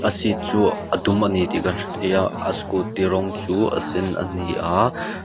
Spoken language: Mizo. a seat chu a dum ani tih kan hrethei a a scooty rawng chu a sen a ni a.